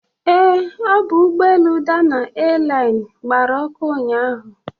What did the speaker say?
Ee, ọ bụ ụgbọelu Dana Airline gbara ọkụ ụnyaahụ.